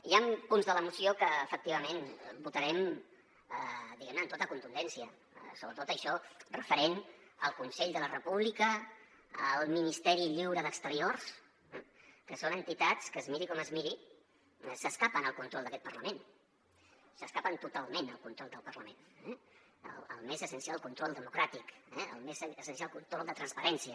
hi ha punts de la moció que efectivament votarem diguem·ne amb tota contundència sobretot això referent al consell de la república al ministeri lliure d’exteriors que són entitats que es miri com es miri s’escapen del control d’aquest parlament s’escapen totalment del control del parlament del més essencial control democràtic del més essencial control de transparència